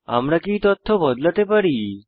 আমরা কি এই তথ্য বদলাতে পারি